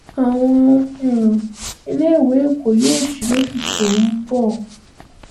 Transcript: àwọn um iléèwé èkó yóò sì lóṣù tó ń bọ̀